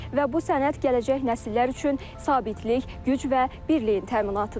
Və bu sənəd gələcək nəsillər üçün sabitlik, güc və birliyin təminatıdır.